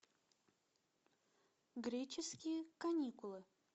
греческие каникулы